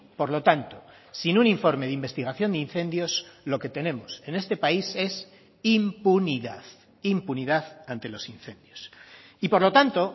por lo tanto sin un informe de investigación de incendios lo que tenemos en este país es impunidad impunidad ante los incendios y por lo tanto